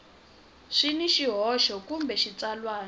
swi na swihoxo kambe xitsalwana